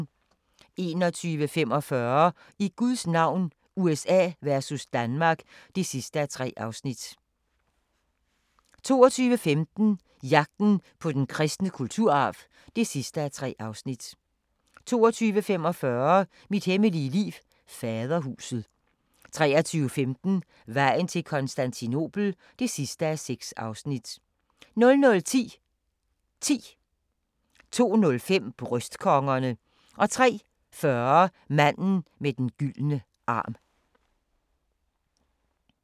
21:45: I Guds navn – USA versus Danmark (3:3) 22:15: Jagten på den kristne kulturarv (3:3) 22:45: Mit hemmelige liv: Faderhuset 23:15: Vejen til Konstantinopel (6:6) 00:10: 10 02:05: Bryst-kongerne 03:40: Manden med den gyldne arm